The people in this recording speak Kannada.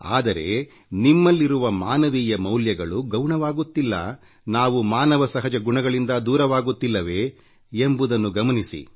ಆದರೆ ನಿಮ್ಮಲ್ಲಿರುವ ಮಾನವೀಯ ಮೌಲ್ಯಗಳು ಗೌಣವಾಗುತ್ತಿಲ್ಲ ನಾವು ಮಾನವ ಸಹಜ ಗುಣಗಳಿಂದ ದೂರವಾಗುತ್ತಿಲ್ಲವೇ ಎಂಬುದನ್ನು ಗಮನಿಸಿ